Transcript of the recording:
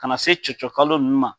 Ka na se cɔcɔ kalo nunnu ma